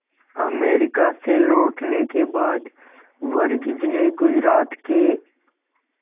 America से लौटने के बाद वर्गीज ने गुजरात के